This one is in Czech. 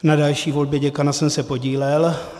Na další volbě děkana jsem se podílel.